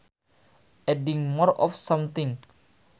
Adding more of something